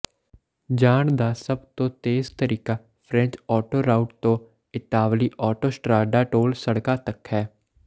ਜਾਣ ਦਾ ਸਭ ਤੋਂ ਤੇਜ਼ ਤਰੀਕਾ ਫ੍ਰੈਂਚ ਆਟੋਰਾਊਟ ਤੋਂ ਇਤਾਲਵੀ ਆਟੋਸਟਰਾਡਾ ਟੋਲ ਸੜਕਾਂ ਤਕ ਹੈ